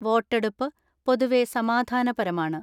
വോട്ടെടുപ്പ് പൊതുവെ സമാ ധാനപരമാണ്.